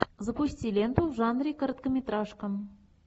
запусти ленту в жанре короткометражка